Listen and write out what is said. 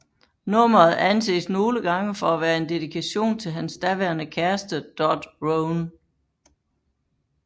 Nummeret anses nogle gange for at være en dedikation til hans daværende kæreste Dot Rhone